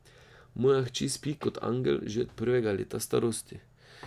Moja hči spi kot angel že od prvega leta starosti.